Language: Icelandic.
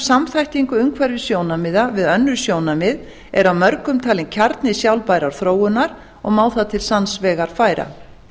samþættingu umhverfissjónarmiða við önnur sjónarmið er af mörgum talin kjarni sjálfbærrar þróunar og má það til sanns vegar færa